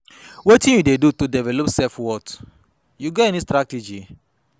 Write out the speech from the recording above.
wetin you dey do to develop your self-worth, you get any strategy?